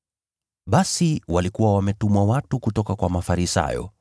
Basi walikuwa wametumwa watu kutoka kwa Mafarisayo